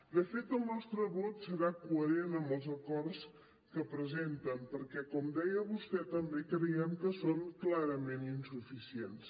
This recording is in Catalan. de fet el nostre vot serà coherent amb els acords que presenten perquè com deia vostè també creiem que són clarament insuficients